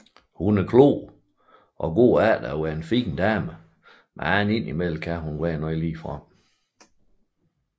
Hun er klog og går efter at være en fin dame men kan til tider være ligefrem